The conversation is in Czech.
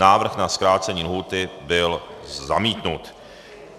Návrh na zkrácení lhůty byl zamítnut.